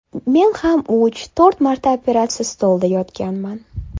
Men ham uch, to‘rt marta operatsiya stolida yotganman.